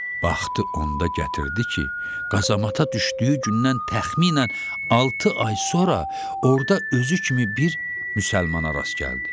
Baxdı onda gətirdi ki, qazamata düşdüyü gündən təxminən altı ay sonra orda özü kimi bir müsəlmana rast gəldi.